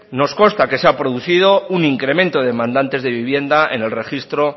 nos consta que se ha producido un incremento de demandantes de vivienda en el registro